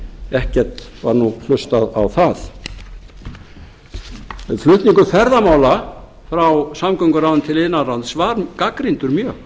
ekkert var nú hlustað á það flutningur ferðamála frá samgönguráðuneyti til iðnaðarráðuneytis var gagnrýndur mjög